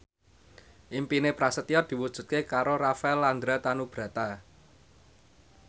impine Prasetyo diwujudke karo Rafael Landry Tanubrata